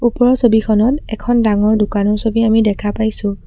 ওপৰৰ ছবিখনত এখন ডাঙৰ দোকানৰ ছবি দেখা পাইছোঁ।